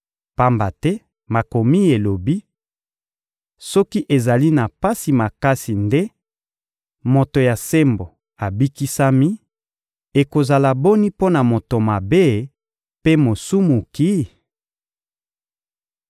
Pamba te Makomi elobi: «Soki ezali na pasi makasi nde moto ya sembo abikisami, ekozala boni mpo na moto mabe mpe mosumuki?»